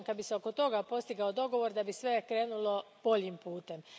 Ja vjerujem da, kad bi se oko toga postigao dogovor, sve bi krenulo boljim putem.